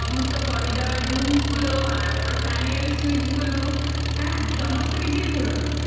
এবার সমস্ত corridor rooms গুলো আর তারপর fan এর ওই switch গুলো, হ্যাঁ, সমস্ত কিছুই পুরনো